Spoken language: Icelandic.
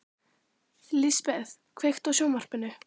Lisbeth, kveiktu á sjónvarpinu.